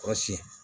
O siyɛn